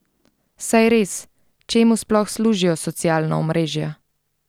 Saj res, čemu sploh služijo socialna omrežja?